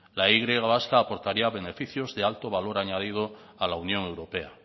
la y vasca aportaría beneficios de alto valor añadido a la unión europea